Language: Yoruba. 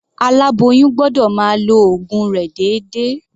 Aláboyún gbọ́dọ̀ máa lo ògun rẹ̀ déédéé.